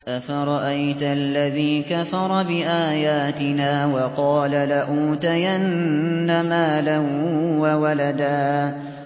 أَفَرَأَيْتَ الَّذِي كَفَرَ بِآيَاتِنَا وَقَالَ لَأُوتَيَنَّ مَالًا وَوَلَدًا